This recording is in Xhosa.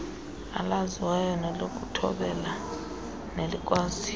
elaziwayo lokuthobela nelikwaziyo